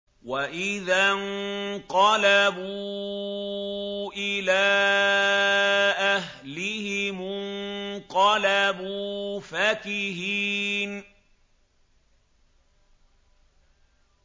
وَإِذَا انقَلَبُوا إِلَىٰ أَهْلِهِمُ انقَلَبُوا فَكِهِينَ